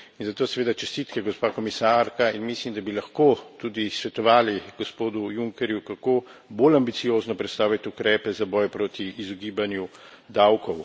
Zato seveda čestitke, gospa komisarka, in mislim, da bi lahko tudi svetovali gospodu Junckerju, kako bolj ambiciozno predstavit ukrepe za boj proti izogibanju davkov.